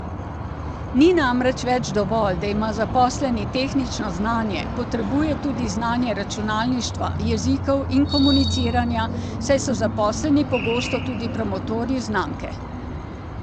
Ni namreč več dovolj, da ima zaposleni tehnično znanje, potrebuje tudi znanje računalništva, jezikov in komuniciranja, saj so zaposleni pogosto tudi promotorji znamke.